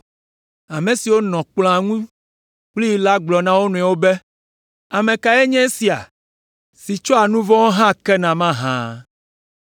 Ame siwo nɔ kplɔ̃a ŋu kplii la gblɔ na wo nɔewo be, “Ame kae nye esia, si tsɔa nu vɔ̃wo hã kena mahã?”